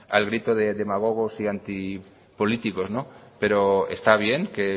al grito de demagogos y antipolíticos pero está bien que